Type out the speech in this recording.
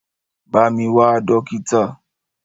Bá mi wá dókítà!